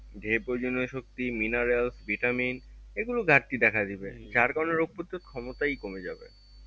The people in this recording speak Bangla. যে প্রয়োজনীয় শক্তি minerals vitamin এগুলোর ঘাটতি দেখা দিবে যার কারণ রোগ প্রতিরোধ ক্ষমতাই কমে যাবে